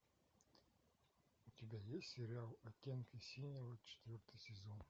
у тебя есть сериал оттенки синего четвертый сезон